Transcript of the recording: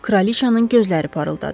Kraliçanın gözləri parıldadı.